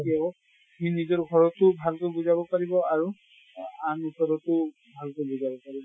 ব সি নিজৰ ঘৰতো ভাল কে বুজাব পাৰিব আৰু আন ঘৰ তো ভাল কে বুজাব পাৰিব ।